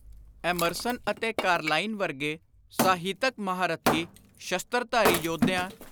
Emerson ਅਤੇ Carlyle ਵਰਗੇ ਸਾਹਿਤਕ ‘ਮਹਾਂਰਥੀ’ ਸ਼ਸਤਰਧਾਰੀ ਯੋਧਿਆਂ,